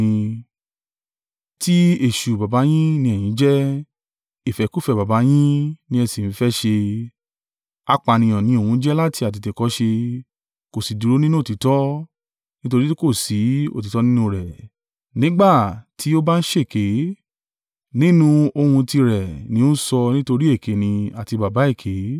Ti èṣù baba yin ni ẹ̀yin jẹ́, ìfẹ́kúfẹ̀ẹ́ baba yín ni ẹ sì ń fẹ́ ṣe. Apànìyàn ni òun jẹ́ láti àtètèkọ́ṣe, kò sì dúró nínú òtítọ́; nítorí tí kò sí òtítọ́ nínú rẹ̀. Nígbà tí ó bá ń ṣèké, nínú ohun tirẹ̀ ni ó ń sọ nítorí èké ni, àti baba èké.